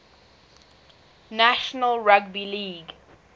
national rugby league